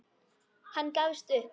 Hann gafst upp.